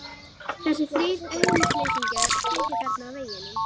Þessir þrír auðnuleysingjar sitja þarna á veggnum.